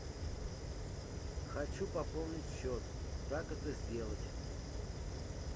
хочу пополнить счет как это сделать